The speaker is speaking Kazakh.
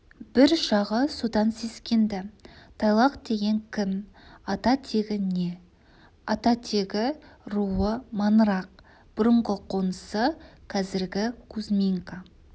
бір жағы содан сескенді тайлақ деген кім ата-тегі не ата-тегі руы маңырақ бұрынғы қонысы қазіргі кузьминка